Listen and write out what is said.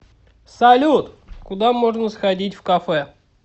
салют куда можно сходить в кафе